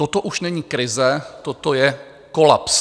Toto už není krize, toto je kolaps.